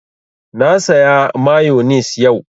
Na saya mayonis yau